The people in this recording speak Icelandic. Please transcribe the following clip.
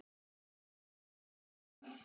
Hennar maður er Michael Dal.